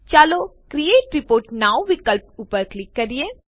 ચાલો create report now વિકલ્પ ઉપર ક્લિક કરીએ